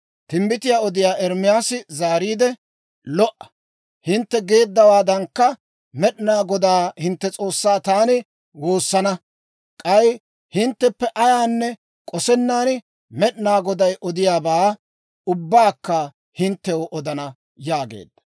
Timbbitiyaa odiyaa Ermaasi zaariide, «Lo"a. Hintte geeddawaadankka, Med'inaa Godaa hintte S'oossaa taani woosana; k'ay hintteppe ayaanne k'osennan, Med'inaa Goday odiyaabaa ubbaakka hinttew odana» yaageedda.